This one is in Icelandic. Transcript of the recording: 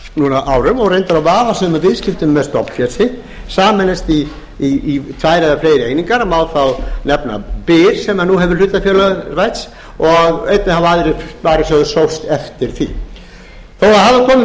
árum og reyndar á vafasömum viðskiptum með stofnfé sitt sameinast í tvær eða fleiri einingar má þar nefna byr sem nú hefur nú hlutafélagavæðst og einnig hafa aðrir sparisjóðir sóst eftir því þó að það